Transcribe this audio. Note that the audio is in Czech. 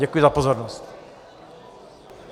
Děkuji za pozornost.